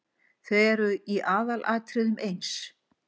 Þau eru í aðalatriðum eins.